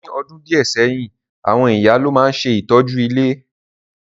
Ní odùn díẹ̀ sẹ́yìn, àwon ìyá lo ma n se ìtọ́jú ilé.